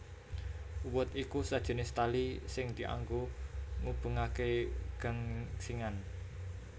Uwed iku sajinis tali sing dianggo ngubengaké gangsingan